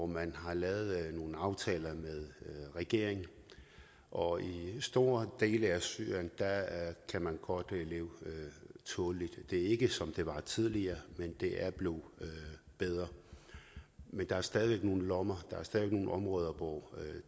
man lavet nogle aftaler med regeringen og i store dele af syrien kan man godt leve tåleligt det er ikke som det var tidligere men det er blevet bedre der er stadig væk nogle lommer nogle områder hvor